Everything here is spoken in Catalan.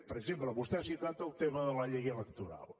per exemple vostè ha citat el tema de la llei electoral